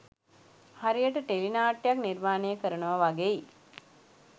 හරියට ටෙලි නාට්‍යයක් නිර්මාණය කරනවා වගෙයි